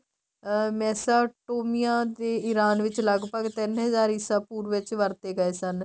ਅਹ ਮੈਸਾਂ ਟੋਮੀਆਂ ਦੇ ਈਰਾਨ ਵਿੱਚ ਲੱਗਭਗ ਤਿੰਨ ਹਜ਼ਾਰ ਈਸਾਂ ਪੂਰਵ ਵੀ ਵਰਤੇ ਗਏ ਸਨ